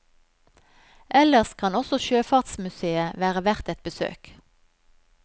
Ellers kan også sjøfartsmusèet være verdt et besøk.